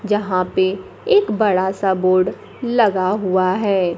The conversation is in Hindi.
यहां पे एक बड़ा सा बोर्ड लगा हुआ है।